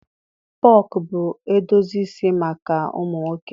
Pọnk bụ edozi isi maka ụmụ nwoke.